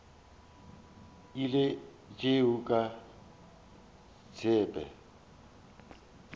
ile a tšea ka tsebe